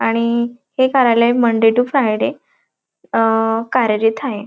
आणि हे कार्यालय मंडे टु फ्रायडे अ कार्यरत हाये.